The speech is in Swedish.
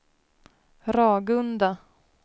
Ragunda